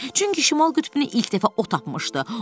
Çünki şimal qütbünü ilk dəfə o tapmışdı.